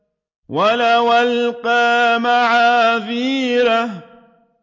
وَلَوْ أَلْقَىٰ مَعَاذِيرَهُ